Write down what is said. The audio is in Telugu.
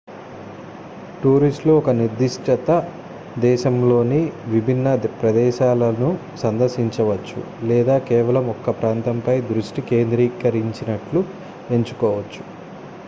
టూరిస్ట్లు ఒక నిర్దిష్ట దేశంలోని విభిన్న ప్రదేశాలను సందర్శించవచ్చు లేదా కేవలం ఒక ప్రాంతంపై దృష్టి కేంద్రీకరించేట్లు ఎంచుకోవచ్చు